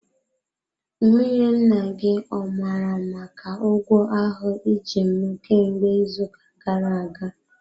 Nwunye nna gị ọ mara maka ụgwọ ahụ iji m kemgbe izu uka gara aga?